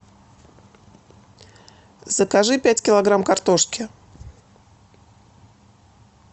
закажи пять килограмм картошки